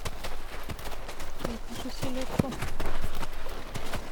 закажи селедку